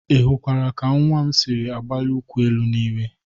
Ị hụkwara ka nwa m siri agbalị ụkwụ n'elu n'iwe?